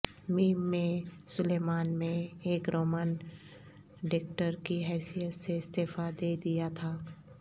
م میں سلیمان میں ایک رومن ڈیکٹر کی حیثیت سے استعفی دے دیا تھا